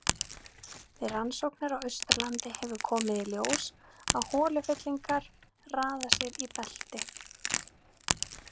Við rannsóknir á Austurlandi hefur komið í ljós að holufyllingar raða sér í belti.